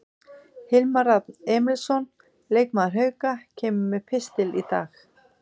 Hilmar Rafn Emilsson, leikmaður Hauka, kemur með pistil í dag.